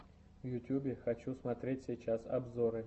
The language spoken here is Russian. в ютубе хочу смотреть сейчас обзоры